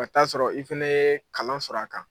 ka t'a sɔrɔ i fana ye kalan sɔrɔ a kan.